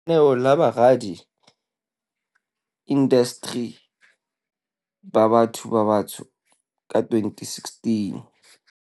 Lenaneo la Boradi indasteri ba Batho ba Batsho ka 2016.